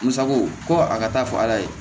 Musako ko a ka taa fɔ ala ye